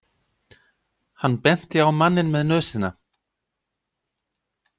Hann benti á manninn með nösina.